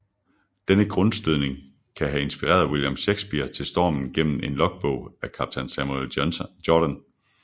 Denne grundstødning kan have inspireret William Shakespeare til Stormen gennem en logbog af kaptajn Samuel Jordan